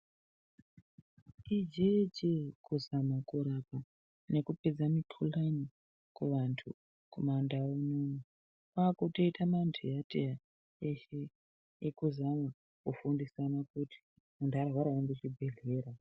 Ijeejee kuzama kurapa nekupedza mikhuhlani kuvantu kumandau uno kwaakutoita manteyanteya eshe ekuzama kufundisana kuti muntu kana arwara unoenda kuchibhehlera.